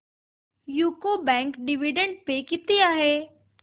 UCO bank dividend pay किती आहे